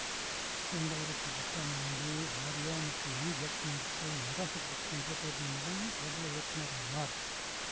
இரண்டாயிரத்தி பத்தாம் ஆண்டு ஆர்யா மற்றும் ஏமி சாக்சன் நடித்த மதராசபட்டினம் திரைப்படத்தின் மூலம் பிரபல இயக்குனர் ஆனார்